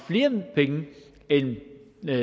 med